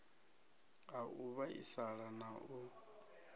ha u vhaisala na u